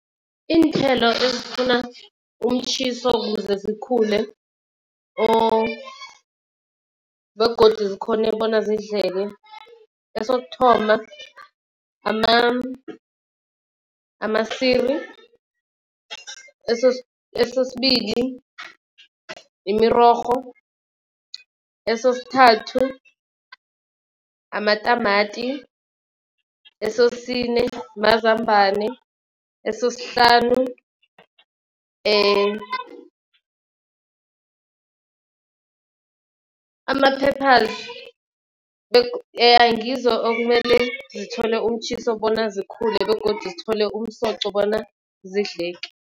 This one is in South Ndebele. Iinthelo ezifuna umtjhiso kuze zikhule or begodu zikhone bona zidleke. Esokuthoma amasiri, esesibili imirorho, esesithathu amatamati, esesine mazambane, esesihlanu ama-peppers. Ngizo okumele zithole umtjhiso bona zikhule begodu zithole umsoqo bona zidleke.